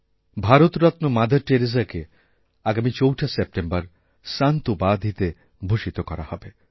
Bharat Ratna Mother টেরেসাকে আগামী ৪ঠা সেপ্টেম্বর সন্ত উপাধিতে ভূষিত করাহবে